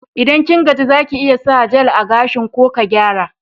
Idan kin gaji, za ki iya sa jel a gashin ko ka gyara.